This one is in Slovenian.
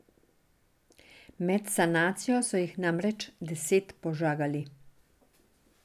Med sanacijo so jih namreč deset požagali.